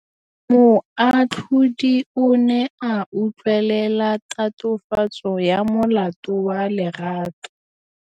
Moatlhodi o ne a utlwelela tatofatsô ya molato wa Lerato.